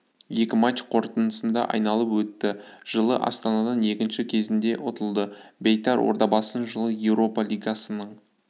екі матч қорытындысында айналып өтті жылы астанадан екінші кезеңде ұтылды бейтар ордабасыны жылы еуропа лигасының